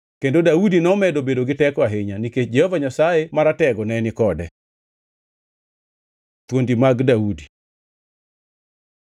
Kendo Daudi nomedo bedo gi teko ahinya, nikech Jehova Nyasaye Maratego ne ni kode. Thuondi mag Daudi